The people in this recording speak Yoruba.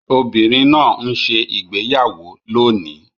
Obìnrin náà ń ṣe ìgbéyàwó lónìí